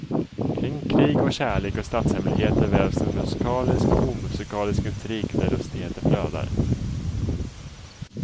Kring krig, kärlek och statshemligheter vävs en musikalisk och omusikalisk intrig där lustigheter flödar.